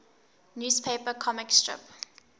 newspaper comic strip